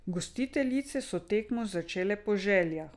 Gostiteljice so tekmo začele po željah.